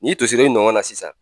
N'i tosira i nɔgɔn na sisan